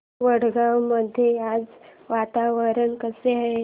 वडगाव मध्ये आज वातावरण कसे आहे